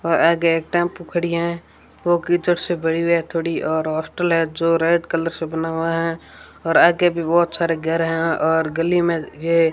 और आगे एक टेंपू खड़ी है ओ कीचड़ से भड़ी है थोड़ी और हॉस्टल है जो रेड कलर से बना हुआ है और आगे भी बहुत सारे घर है और गली में ये --